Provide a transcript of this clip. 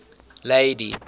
lady